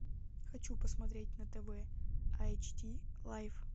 хочу посмотреть на тв айч ди лайф